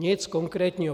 Nic konkrétního.